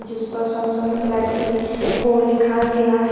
जिस पर Samsung Galaxy को लिखा गया है।